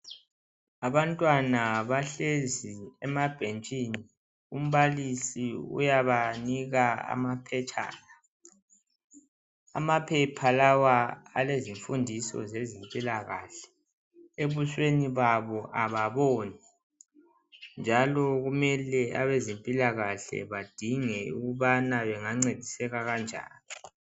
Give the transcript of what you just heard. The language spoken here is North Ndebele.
Abantwana bahlezi emabhentshini, umbalisi uyabanika amaphetshana. Amaphepha lawa alezifundiso zezempilakahle, ebusweni babo ababoni njalo kumele abempilakahle badinge ukubana bangancediseka kanjani.